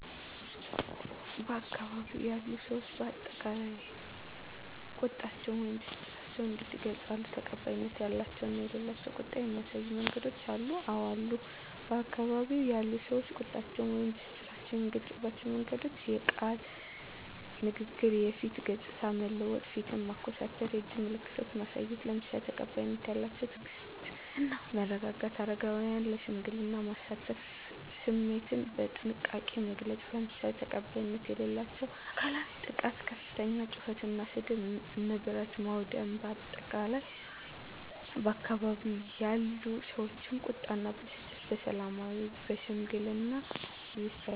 በአካባቢው ያሉ ሰዎች በአጠቃላይ ቁጣቸውን ወይም ብስጭታቸውን እንዴት ይገልጻሉ? ተቀባይነት ያላቸው እና የሌላቸው ቁጣን የሚያሳዩ መንገዶች አሉ? *አወ አሉ፦ በአካባቢው ያሉ ሰዎች ቁጣቸውን ወይም ብስጭታቸውን የሚገልጹባቸው መንገዶች፦ * የቃል ንግግር *የፊት ገጽታን መለወጥ (ፊትን ማኮሳተር)፣ *የእጅ ምልክቶችን ማሳየት፣ **ለምሳሌ፦ ተቀባይነት ያላቸው * ትዕግስት እና መረጋጋት: * አረጋውያንን ለሽምግልና ማሳተፍ።: * ስሜትን በጥንቃቄ መግለጽ: **ለምሳሌ፦ ተቀባይነት የሌላቸው * አካላዊ ጥቃት * ከፍተኛ ጩኸት እና ስድብ: * ንብረት ማውደም: በአጠቃላይ፣ ባካባቢው ያሉ ሰዎች ቁጣ እና ብስጭታቸውን በሰላማዊና በሽምግልና ይፈታሉ።